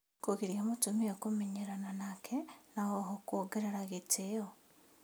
Kũgiria mũtumia kũmenyerana nake na oho kuongerera gĩtĩo